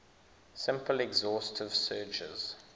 simple exhaustive searches